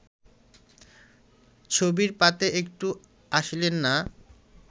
ছবির পাতে একটুও আসিলেন না